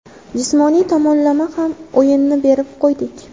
Jismoniy tomonlama ham o‘yinni berib qo‘ydik.